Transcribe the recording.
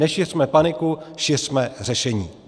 Nešiřme paniku, šiřme řešení.